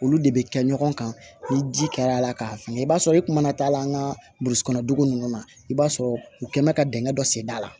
Olu de bɛ kɛ ɲɔgɔn kan ni ji kɛra la k'a fili i b'a sɔrɔ i kuma taa la an ka burusi kɔnɔ dugu ninnu na i b'a sɔrɔ u kɛ mɛ ka dɛngɛn dɔ senda la